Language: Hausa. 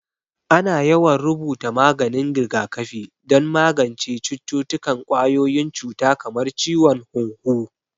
Ana yawan rubuta maganin rigakafi don magance cututtukan ƙwayoyin cuta kamar ciwon hunhu